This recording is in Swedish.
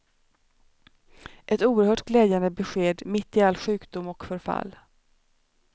Ett oerhört glädjande besked mitt i all sjukdom och förfall.